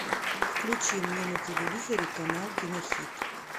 включи мне на телевизоре канал кинохит